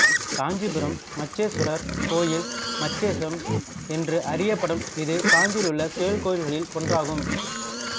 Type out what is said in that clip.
காஞ்சிபுரம் மச்சேசுவரர் கோயில் மச்சேசம் என்று அறியப்படும் இது காஞ்சியிலுள்ள சிவகோயில்களில் ஒன்றாகும்